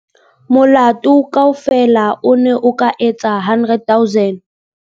Molato kaofela o ne o ka etsa 100 000.